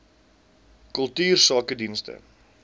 kultuursakedienste